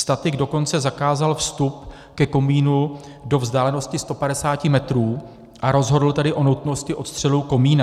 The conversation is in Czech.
Statik dokonce zakázal vstup ke komínu do vzdálenosti 150 metrů, a rozhodl tedy o nutnosti odstřelu komína.